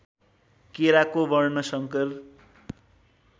केराको वर्णशंकर